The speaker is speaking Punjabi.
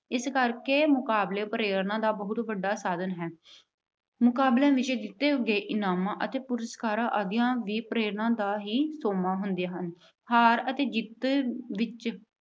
ਇਸ ਕਰਕੇ ਮੁਕਾਬਲੇ ਪ੍ਰੇਰਨਾ ਦਾ ਬਹੁਤ ਵੱਡਾ ਸਾਧਨ ਹੈ। ਮੁਕਾਬਲਿਆਂ ਵਿੱਚ ਜਿੱਤੇ ਗਏ ਇਨਾਮ ਅਤੇ ਪੁਰਸਕਾਰ ਆਦਿ ਪ੍ਰੇਰਨਾ ਦਾ ਹੀ ਸੋਮਾ ਹੁੰਦੇ ਹਨ। ਹਾਰ ਅਤੇ ਜਿੱਤ ਵਿੱਚ